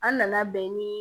An nana bɛn ni